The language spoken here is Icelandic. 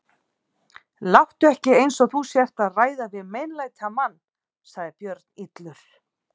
Láttu ekki eins og þú sért að ræða við meinlætamann, sagði Björn illur.